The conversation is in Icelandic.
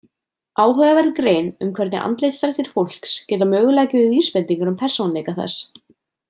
Áhugaverð grein um hvernig andlitsdrættir fólks geta mögulega gefið vísbendingar um persónuleika þess.